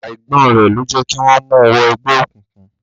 Àìgbọ́n rẹ̀ ló jẹ́ kí wọ́n mu wọ ẹgbẹ́ òkùnkùn.